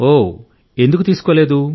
ఓహ్ ఎందుకు తీసుకోలేదు